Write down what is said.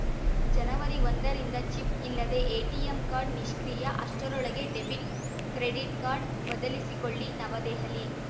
ಜನವರಿ ಒಂದರಿಂದ ಚಿಪ್‌ ಇಲ್ಲದ ATM card ನಿಷ್ಕ್ರಿಯ ಅಷ್ಟರೊಳಗೆ ಡೆಬಿಟ್‌ ಕ್ರೆಡಿಟ್‌ ಕಾರ್ಡ್‌ ಬದಿಲಿಸಿಕೊಳ್ಳಿ ನವದೆಹಲಿ